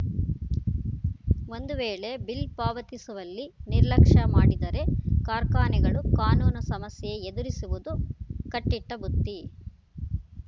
ಒಂದು ವೇಳೆ ಬಿಲ್‌ ಪಾವತಿಸುವಲ್ಲಿ ನಿರ್ಲಕ್ಷ್ಯ ಮಾಡಿದರೆ ಕಾರ್ಖಾನೆಗಳು ಕಾನೂನು ಸಮಸ್ಯೆ ಎದುರಿಸುವುದು ಕಟ್ಟಿಟ್ಟಬುತ್ತಿ